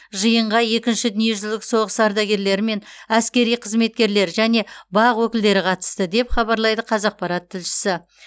жиынға екінші дүниежүзілік соғысы ардагерлері мен әскери қызметкерлер және бақ өкілдері қатысты деп хабарлайды қазақпарат тілшісі